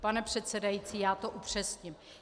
Pane předsedající, já to upřesním.